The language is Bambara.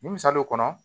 Misali kɔnɔ